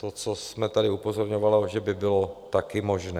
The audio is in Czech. To, co jsme tady upozorňovali, že by bylo také možné.